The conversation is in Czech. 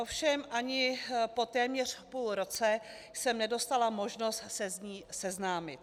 Ovšem ani po téměř půl roce jsem nedostala možnost se s ní seznámit.